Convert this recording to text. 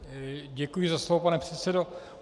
Děkuji za slovo, pane předsedo.